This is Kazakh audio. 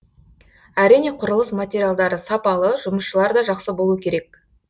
әрине құрылыс материалдары сапалы жұмысшылар да жақсы болу керек